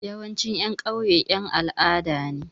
Yawancin ƴan ƙauye ƴan al'ada ne.